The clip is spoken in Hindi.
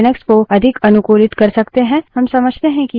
अब समझते हैं कि यह सब कैसे हो सकता है